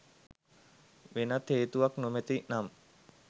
වෙනත් හේතුවක් නොමැති නම්